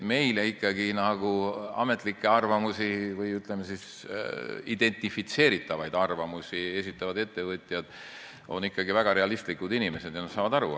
Meile ametlikke arvamusi või, ütleme, identifitseeritavaid arvamusi esitavad ettevõtjad on ikkagi väga realistlikud inimesed ja nad saavad asjast aru.